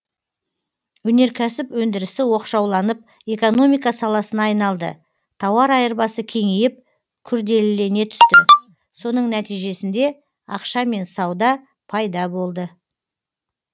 өнеркәсіп өндірісі оқшауланып экономика саласына айналды тауар айырбасы кеңейіп күрделілене түсті соның нәтижесінде ақша мен сауда пайда болды